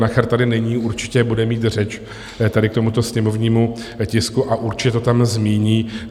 Nacher tady není, určitě bude mít řeč tady k tomuto sněmovnímu tisku a určitě to tam zmíní.